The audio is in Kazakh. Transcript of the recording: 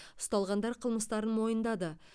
ұсталғандар қылмыстарын мойындады